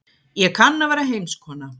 Ég kann að vera heimskona.